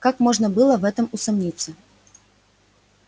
как можно было в этом усомниться